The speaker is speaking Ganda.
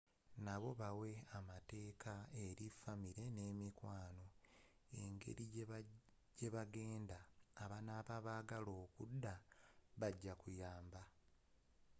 nabo bawe amateeka eri famire ne mikwano engerigyeba genda abanaba bagala okudda bagya kuyamba